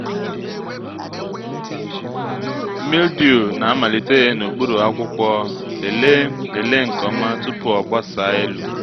mildew na-amalite n’okpuru akwụkwọ lelee lelee nke ọma tupu o gbasaa elu